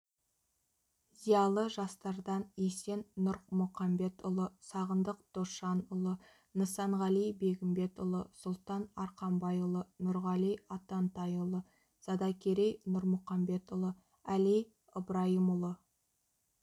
зиялы жастардан есен нұрмұқамбетұлы сағындық досжанұлы нысанғали бегімбетұлы сұлтан арқабайұлы нұрғали атантайұлы задакерей нұрмұқамбетұлы әли ыбрайымұлы